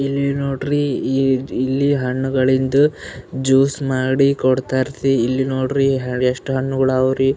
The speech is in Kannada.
ಇಲ್ಲಿ ನೋಡ್ರಿ ಈ ಜ್ ಇಲ್ಲಿ ಹಣ್ಣುಗಳಿದ್ದು ಜೂಸ್ ಮಾಡಿ ಕೊಡರ್ತಾರಿ ಇಲ್ನೋಡ್ರಿ ಹ ಎಷ್ಟು ಹಣ್ಣುಗಳವ್ರಿ.